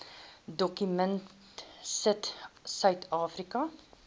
dokument sit suidafrika